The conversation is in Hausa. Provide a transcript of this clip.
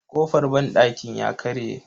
Kofar banɗakin ya karye.